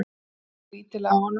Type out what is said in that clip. Horfði skrítilega á hana.